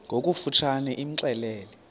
ngokofu tshane imxelele